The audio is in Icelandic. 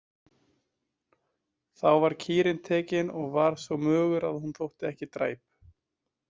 Þá var kýrin tekin og var svo mögur að hún þótti ekki dræp.